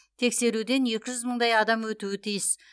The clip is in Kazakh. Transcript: тексеруден екі жүз мыңдай адам өтуі тиіс